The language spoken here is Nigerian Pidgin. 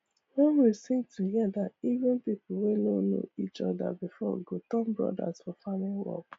wen we sing together even people wey no know each other before go turn brothers for farming work